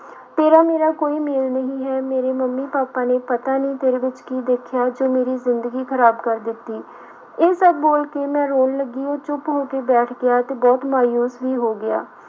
ਤੇਰਾ ਮੇਰਾ ਕੋਈ ਮੇਲ ਨਹੀਂ ਹੈ ਮੇਰੇ ਮੰਮੀ ਪਾਪਾ ਨੇ ਪਤਾ ਨੀ ਤੇਰੇ ਵਿੱਚ ਕੀ ਦੇਖਿਆ ਜੋ ਮੇਰੀ ਜ਼ਿੰਦਗੀ ਖ਼ਰਾਬ ਕਰ ਦਿੱਤੀ, ਇਹ ਸਭ ਬੋਲ ਕੇ ਮੈਂ ਰੋਣ ਲੱਗੀ ਉਹ ਚੁੱਪ ਹੋ ਕੇ ਬੈਠ ਗਿਆ ਤੇ ਬਹੁਤ ਮਾਊਸ ਵੀ ਹੋ ਗਿਆ।